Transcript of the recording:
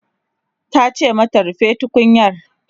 tace mata "rufe tukunyar!"